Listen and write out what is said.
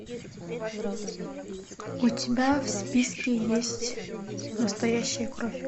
у тебя в списке есть настоящая кровь